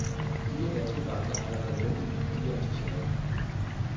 Fire danske banker har allerede meddelt, at de er interesserede.